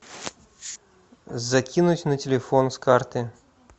закинуть на телефон с карты